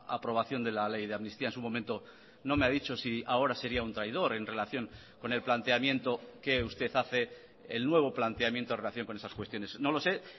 aprobación de la ley de amnistía en su momento no me ha dicho si ahora sería un traidor en relación con el planteamiento que usted hace el nuevo planteamiento en relación con esas cuestiones no lo sé